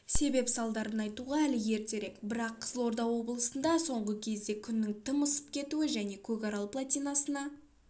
себеп-салдарын айтуға әлі ертерек бірақ қызылорда облысында соңғы кезде күннің тым ысып кетуі және көкарал плотинасына